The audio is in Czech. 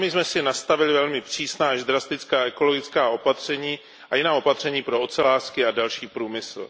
Sami jsme si nastavili velmi přísná až drastická ekologická opatření a jiná opatření pro ocelářský a další průmysl.